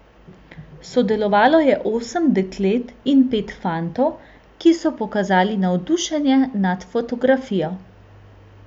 Sodelovalo je osem deklet in pet fantov, ki so pokazali navdušenje nad fotografijo.